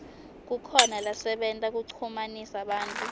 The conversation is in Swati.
kukhona lasebenta kuchumanisa bantfu